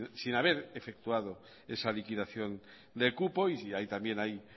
sin haber efectuado esa liquidación de cupo y ahí también hay